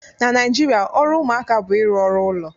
Na Naijiria ọrụ ụmụaka bụ ịrụ ọrụ ụlọ